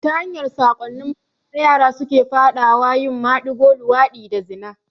Ta hanyar sakonni banza yara suke faɗa wa yin maɗigo, luwaɗi da zina